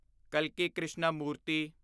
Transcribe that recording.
ਕਲਕੀ Krishnamurti